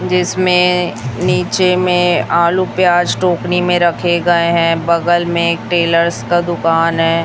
जिसमें नीचे में आलू प्याज टोकरी में रखे गए हैं बगल में एक टेलर्स का दुकान है।